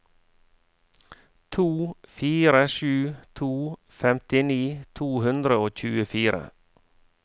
to fire sju to femtini to hundre og tjuefire